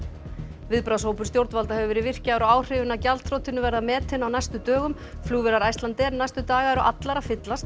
viðbragðshópur stjórnvalda hefur verið virkjaður og áhrifin af gjaldþrotinu verða metin á næstu dögum flugvélar Icelandair næstu daga eru allar að fyllast en